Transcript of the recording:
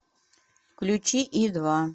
включи и два